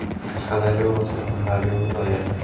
Qashqadaryo va Surxondaryo viloyati.